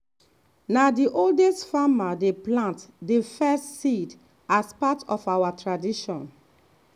na the oldest farmer dey plant the first seed as part of our tradition.